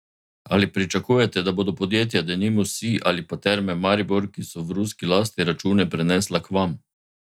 Ali pričakujete, da bodo podjetja, denimo Sij ali pa Terme Maribor, ki so v ruski lasti, račune prenesla k vam?